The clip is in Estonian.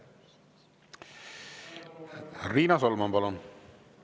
Riina Solman, palun!